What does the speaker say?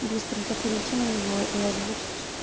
быстренько перейти на него и озвучить